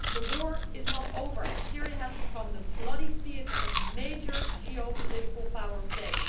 The war is not over and Syria has become the bloody theatre of major geopolitical power play.